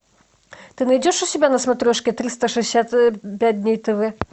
ты найдешь у себя на смотрешке триста шестьдесят пять дней тв